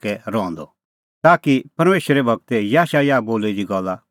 ताकि परमेशरे गूर याशायाह बोली दी गल्ला पूरी होए कि